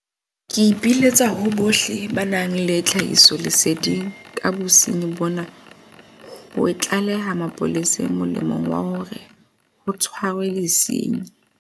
Ke ipiletsa ho bohle ba nang le tlhahisoleseding ka bosenyi bona ho e tlaleha mapoleseng molemong wa hore ho tshwarwe disenyi.